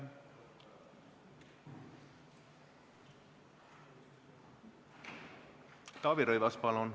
Taavi Rõivas, palun!